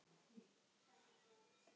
Fólk getur jafnvel fengið gulu.